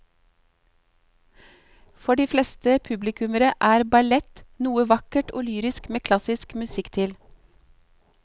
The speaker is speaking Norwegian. For de fleste publikummere er ballett noe vakkert og lyrisk med klassisk musikk til.